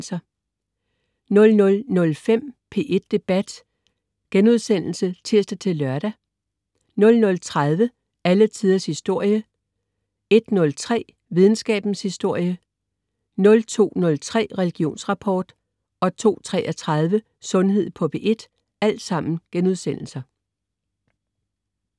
00.05 P1 Debat* (tirs-lør) 00.30 Alle Tiders Historie* 01.03 Videnskabens Verden* 02.03 Religionsrapport* 02.33 Sundhed på P1*